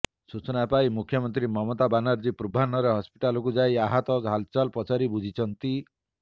ସୂଚନା ପାଇ ମୁଖ୍ୟମନ୍ତ୍ରୀ ମମତା ବାନାର୍ଜୀ ପୂର୍ବାହ୍ନରେ ହସ୍ପିଟାଲକୁ ଯାଇ ଆହତଙ୍କ ହାଲଚାଲ ପଚାରି ବୁଝିଛନ୍ତି